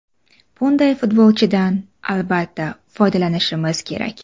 Bunday futbolchidan, albatta, foydalanishimiz kerak.